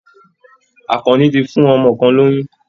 Àkànní ti fún ọmọ kan lóyún